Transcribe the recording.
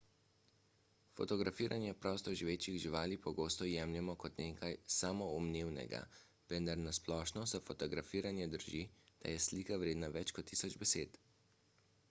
fotografiranje prostoživečih živali pogosto jemljemo kot nekaj samoumevnega vendar na splošno za fotografiranje drži da je slika vredna več kot tisoč besed